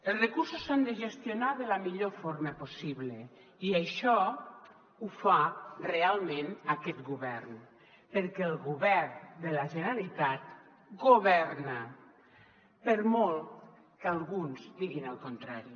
els recursos s’han de gestionar de la millor forma possible i això ho fa realment aquest govern perquè el govern de la generalitat governa per molt que alguns diguin el contrari